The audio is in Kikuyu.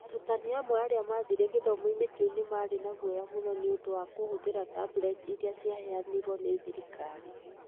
Arutani amwe arĩa maathire gĩthomo-inĩ kĩu nĩ marĩ na guoya mũno nĩ ũndũ wa kũhũthĩra tableti iria ciaheanirũo nĩ thirikari.